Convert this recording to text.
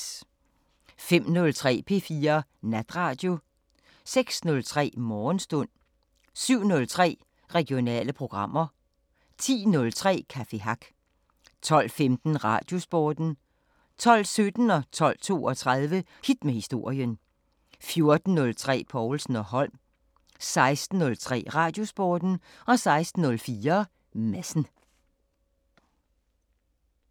05:03: P4 Natradio 06:03: Morgenstund 07:03: Regionale programmer 10:03: Café Hack 12:15: Radiosporten 12:17: Hit med historien 12:32: Hit med historien 14:03: Povlsen & Holm 16:03: Radiosporten 16:04: Madsen